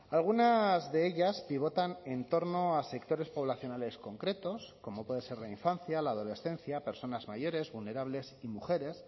algunas de ellas pivotan en torno a sectores poblacionales concretos como puede ser la infancia la adolescencia personas mayores vulnerables y mujeres